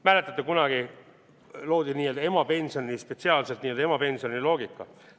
Mäletate, kunagi loodi spetsiaalselt n-ö emapensioni loogika.